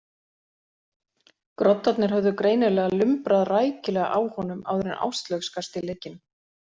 Groddarnir höfðu greinilega lumbrað rækilega á honum áður en Áslaug skarst í leikinn.